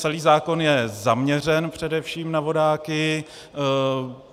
Celý zákon je zaměřen především na vodáky.